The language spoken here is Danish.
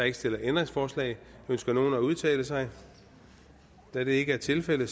ikke stillet ændringsforslag ønsker nogen at udtale sig da det ikke er tilfældet